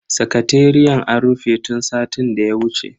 Sakateriyan a rufe tun satin daya wuce.